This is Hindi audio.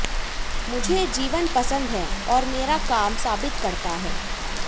मुझे जीवन पसंद है और मेरा काम साबित करता है